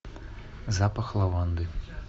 запах лаванды